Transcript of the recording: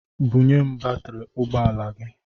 Bunye m batiri ụgbọala gị!